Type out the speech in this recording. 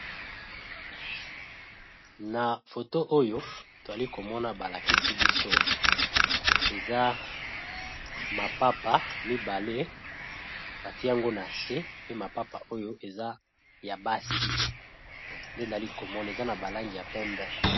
Na foto oyo toali komona balakisi biso eza mapapa mibale batiango na se pe mapapa oyo eza ya basi nde nali komona eza na ba langi ya pembe.